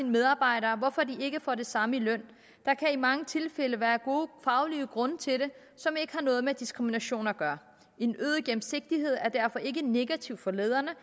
medarbejdere hvorfor de ikke får det samme i løn der kan i mange tilfælde være gode faglige grunde til det som ikke har noget med diskrimination at gøre en øget gennemsigtighed er derfor ikke negativt for lederne